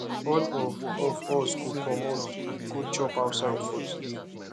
all of of us go comot go chop outside for today